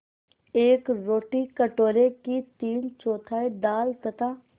एक रोटी कटोरे की तीनचौथाई दाल तथा